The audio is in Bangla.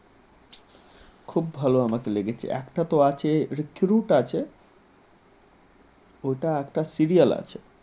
খুব ভালো আমাকে লেগেছে একটা তো আছে রিক্রুট আছে ওটা একটা serial আছে ।